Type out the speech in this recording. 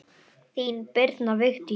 Þín, Birna Vigdís.